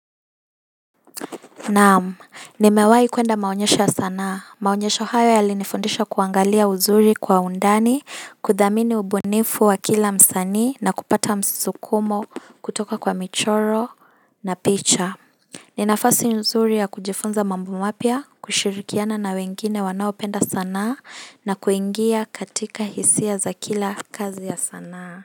Naam nimewahi kuenda maonyesho ya sanaa maonyesho hayo yalinifundisha kuangalia uzuri kwa undani kudhamini ubunifu wa kila msani na kupata msukumo kutoka kwa michoro na picha ni nafasi uzuri ya kujifunza mambo mapya kushirikiana na wengine wanaopenda sanaa na kuingia katika hisia za kila kazi ya sanaa.